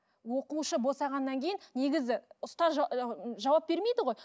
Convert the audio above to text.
оқушы босағаннан кейін негізі ұстаз жауап бермейді ғой